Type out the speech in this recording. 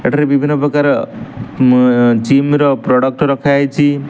ଏଠାରେ ବିଭିନ୍ନ ପ୍ରକାର ମୁଁ ଅ ଯିମ୍ ର ପ୍ରଡକ୍ଟ ରଖାହେଇଚି ।